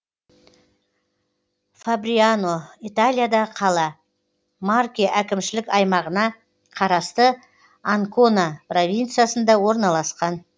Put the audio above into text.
фабриано италиядағы қала марке әкімшілік аймағына қарасты анкона провинциясында орналасқан